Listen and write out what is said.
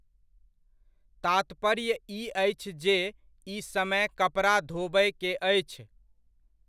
तात्पर्य ई अछि जे ई समय कपड़ा धोबय के अछि।